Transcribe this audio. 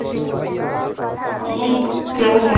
উম কেমন হলো তুমি